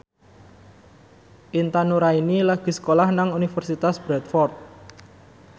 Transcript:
Intan Nuraini lagi sekolah nang Universitas Bradford